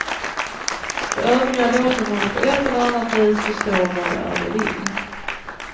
De övriga låter honom på ett eller annat vis förstå vad det är de vill.